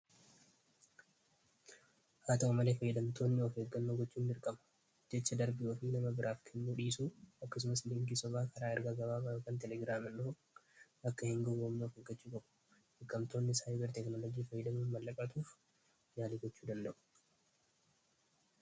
haa ta'u malee fayyidamtoonni ofii eggannaa gochuun dirqama jecha darbii ofii nama biraaf kennuu dhiisuu akkasumas linkii sobaa karaa ergaa gabaabaa yookan teleegiraaml akka hin guwwomnuuf eeggachuu qabu hattoonni sayber teeknoolojii fayyadamuu mallaqa hatuuf yaalii gochuu danda'u